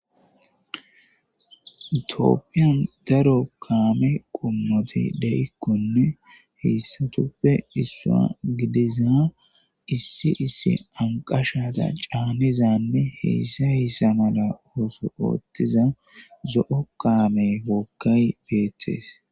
Tooppiyan daro kaame qommoti de'ikkonne heessatuppe issua gidiza issi issi anqashata caanizanne heyssa hessa mala ooso ooththiza zo'o kaame wookkay beettees.